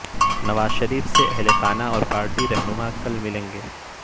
نواز شریف سے اہل خانہ اور پارٹی رہنما کل ملیں گے